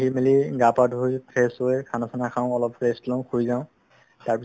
কৰি মিলি গা পা ধুই fresh হয় খানা চানা খাও অলপ rest লও শুই যাও তাৰপিছত